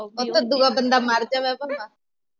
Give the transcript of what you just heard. ਓਥੇਂ ਦੁਆ ਬੰਦਾ ਮਰ ਜਾਵੇ ਭਾਵੇਂ